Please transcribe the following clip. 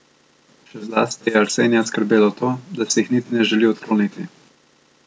Še zlasti je Arsenija skrbelo to, da si jih niti ne želi odkloniti.